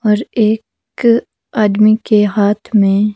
और एक आदमी के हाथ में--